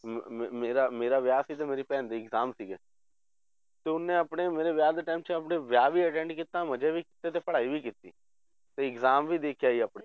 ਮ~ ਮ~ ਮੇਰਾ ਵਿਆਹ ਸੀ ਤੇ ਮੇਰੀ ਭੈਣ ਦੇ exam ਸੀਗੇ ਤੇ ਉਹਨੇ ਆਪਣੇ ਮੇਰੇ ਵਿਆਹ ਦੇ time 'ਚ ਆਪਣੇ ਵਿਆਹ ਵੀ attend ਕੀਤਾ ਮਜ਼ੇ ਵੀ ਕੀਤੇ ਤੇ ਪੜ੍ਹਾਈ ਵੀ ਕੀਤੀ, ਤੇ exam ਵੀ ਦੇ ਕੇ ਆਪਣੇ